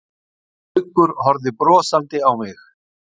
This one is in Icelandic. Gaukur horfði brosandi á mig.